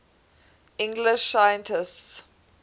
english scientists